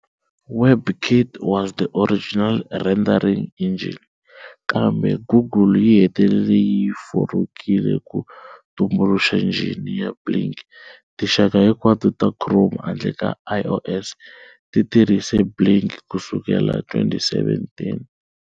WebKit was the original rendering engine, kambe Google yi hetelele yi yi forokile ku tumbuluxa njhini ya Blink, tinxaka hinkwato ta Chrome handle ka iOS ti tirhise Blink ku sukela hi 2017.